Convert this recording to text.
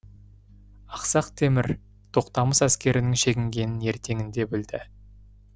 ақсақ темір тоқтамыс әскерінің шегінгенін ертеңінде білді